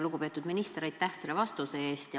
Lugupeetud minister, aitäh selle vastuse eest!